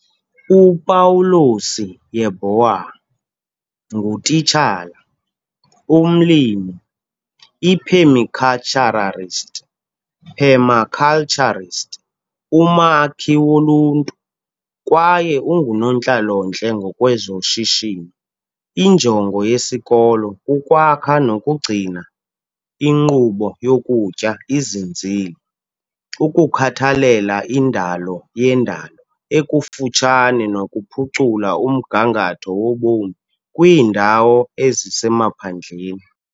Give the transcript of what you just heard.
UPawulosi Yeboah, ngutitshala, umlimi, iphemikhaltshararist, permaculturist, umakhi woluntu, kwaye ungunontlalontle ngokwezoshishino. Injongo yesisikolo kukwakha nokugcina inkqubo yokutya izinzile, ukukhathalela indalo yendalo ekufutshane nokuphucula umgangatho wobomi kwiindawo ezisemaphandleni.